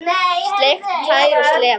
Sleikt tær og slefað.